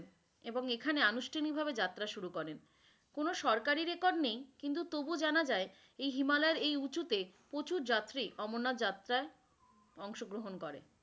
এবং এখানে আনুশঠানিক ভাবে যাত্রা শুরু করেন, কোন সরকারি রেকর্ড নেই কিন্তু তবুও জানা যাই এই হিমালয়ের এই উচুতে প্রচুর যাত্রী অমরনাথা যাত্রাই আংশ গ্রহন করেন।